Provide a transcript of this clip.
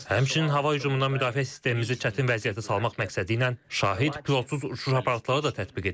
Həmçinin hava hücumundan müdafiə sistemimizi çətin vəziyyətə salmaq məqsədi ilə şahid pilotsuz uçuş aparatları da tətbiq edilib.